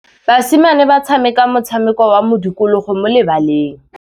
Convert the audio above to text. Basimane ba tshameka motshameko wa modikologô mo lebaleng.